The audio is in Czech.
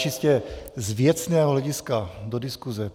Čistě z věcného hlediska do diskuse.